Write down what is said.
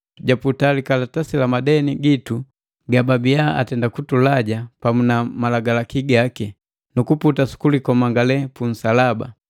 japuta likalatasi la madeni gitu gababiya atenda kutulaja pamu na malagalaki gaki, nukuputa su kulikomangale punsalaba.